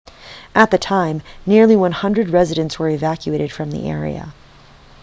at the time nearly 100 residents were evacuated from the area